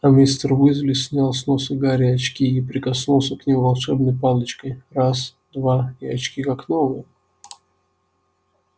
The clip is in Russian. а мистер уизли снял с носа гарри очки и прикоснулся к ним волшебной палочкой раз-два и очки как новые